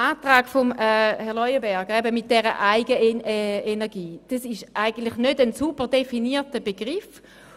Der Antrag von Herrn Leuenberger zur Eigenenergie verwendet einen nicht sauber definierten Begriff.